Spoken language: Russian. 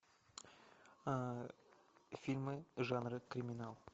фильмы жанра криминал